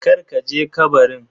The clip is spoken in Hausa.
Kar ka je kabarin.